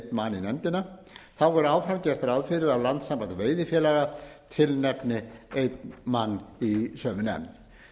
í nefndina þá verður áfram gert ráð fyrir að landssamband veiðifélaga tilnefni einn mann í sömu nefnd